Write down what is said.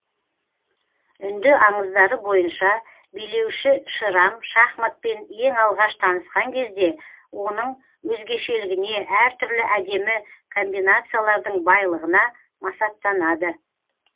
үнді аңыздары бойынша билеуші шерам шахматпен ең алғаш танысқан кезде оның өзгешелігіне әр түрлі әдемі комбинациялардың байлығына масаттанады